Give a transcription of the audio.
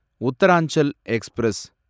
Uttaranchal express